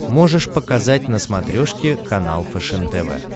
можешь показать на смотрешке канал фэшен тв